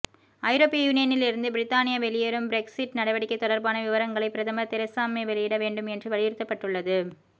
ஐரோப்பிய யூனியனிலிருந்து பிரித்தானியா வெளியேறும் பிரெக்ஸிட் நடவடிக்கை தொடர்பான விவரங்களை பிரதமர் தெரசா மே வெளியிட வேண்டும் என்று வலியுறுத்தப்பட்டுள்ளது